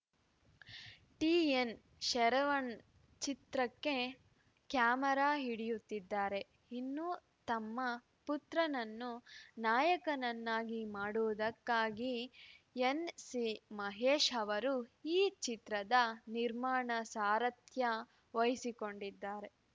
T N Saravanan ಚಿತ್ರಕ್ಕೆ camera ಹಿಡಿಯುತ್ತಿದ್ದಾರೆ ಇನ್ನೂ ತಮ್ಮ ಪುತ್ರನನ್ನು ನಾಯಕನನ್ನಾಗಿ ಮಾಡುವುದಕ್ಕಾಗಿ ಎನ್‌ ಸಿ ಮಹೇಶ್‌ ಅವರು ಈ ಚಿತ್ರದ ನಿರ್ಮಾಣ ಸಾರಥ್ಯ ವಹಿಸಿಕೊಂಡಿದ್ದಾರೆ